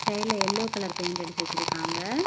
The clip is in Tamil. மேல எல்லோ கலர் பெயிண்ட் அடிச்சு வச்சிருக்காங்க.